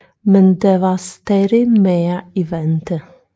Men der var stadig mere i vente